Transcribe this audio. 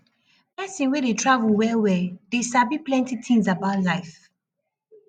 pesin wey dey travel wellwell dey sabi plenty tins about life